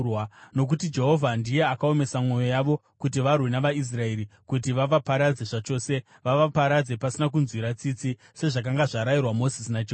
Nokuti Jehovha ndiye akaomesa mwoyo yavo kuti varwe navaIsraeri, kuti vavaparadze zvachose, vavaparadze pasina kunzwira tsitsi, sezvakanga zvarayirwa Mozisi naJehovha.